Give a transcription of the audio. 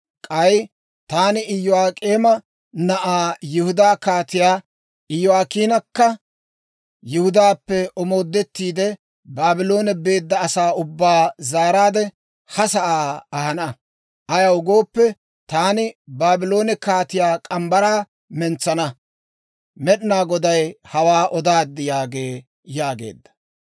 K'ay taani Iyo'ak'eema na'aa Yihudaa Kaatiyaa Iyo'aakiinakka, Yihudaappe omoodettiide, Baabloone beedda asaa ubbaa zaaraadde ha sa'aa ahana. Ayaw gooppe, taani Baabloone kaatiyaa morgge mitsaa mentsana. Med'inaa Goday hawaa odaad› yaagee» yaageedda.